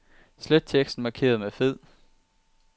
Slet teksten markeret med fed.